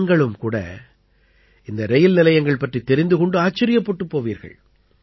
நீங்களும் கூட இந்த ரயில் நிலையங்கள் பற்றித் தெரிந்து கொண்டு ஆச்சரியப்பட்டுப் போவீர்கள்